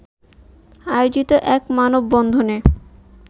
আয়োজিত এক মানববন্ধনে